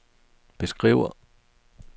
beskriver